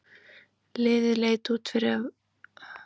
Liðið leit vel út á undirbúningstímabilinu og sigraði Lengjubikarinn.